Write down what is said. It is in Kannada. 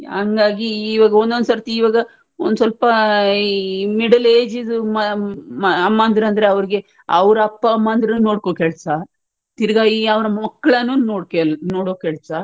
ಹಾಗಾಗಿ ಒಂದೊಂದು ಸರ್ತಿ ಈವಾಗ ಒಂದು ಸ್ವಲ್ಪ ಈ middle age ದು ಅಮ್ಮಂದ್ರು ಅಂದ್ರೆ ಅವರಿಗೆ ಅವ್ರ ಅಪ್ಪ ಅಮ್ಮ ಅಂದ್ರೂನು ನೋಡ್ಕೋ ಕೆಲಸ ತಿರ್ಗಾ ಈ ಅವ್ರ ಮಕ್ಳನ್ನು ನೋಡ್ಕೆಲ್ ನೋಡೊ ಕೆಲ್ಸ